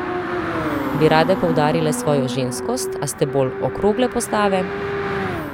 Bi rade poudarile svojo ženskost, a ste bolj okrogle postave?